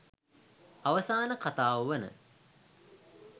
අවසාන කතාව වන